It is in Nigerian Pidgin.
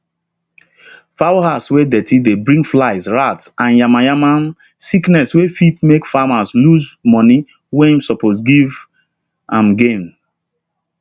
fowl house wey dirty dey bring fly rat and yamayama um sickness wey fit make farmer lose money wey suppose give um am gain